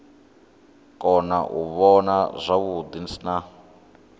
kona u vhona zwavhuḓi na